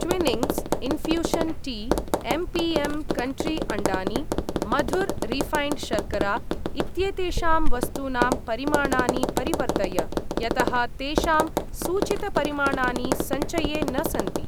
Twinings ,infusion tea , MPM country अण्डानि , Madhur refined शर्करा इत्येतेषां वस्तूनां परिमाणानि परिवर्तय, यतः तेषां सूचितपरिमाणानि सञ्चये न सन्ति।